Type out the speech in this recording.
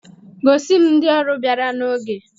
Gosi m ndị ọrụ bịara n'oge!